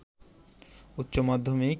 উচ্চ মাধ্যমিক